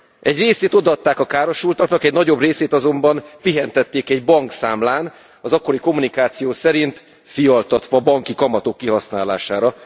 Egy részét odaadták a károsultaknak, egy nagyobb részét azonban pihentették egy bankszámlán, az akkori kommunikáció szerint fialtatva, banki kamatok kihasználására.